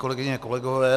Kolegyně, kolegové.